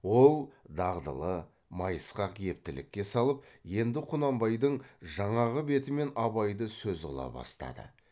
ол дағдылы майысқақ ептілікке салып енді құнанбайдың жаңағы бетімен абайды сөз қыла бастады